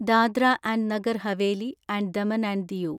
Dadra and Nagar Haveli and Daman and Diu